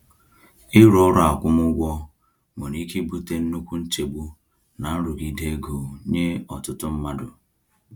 Ịrụ ọrụ akwụmụgwọ nwere ike ibute nnukwu nchegbu na nrụgide ego nye ọtụtụ mmadụ.